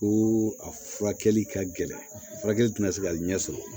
Ko a furakɛli ka gɛlɛn furakɛli tɛna se ka ɲɛ sɔrɔ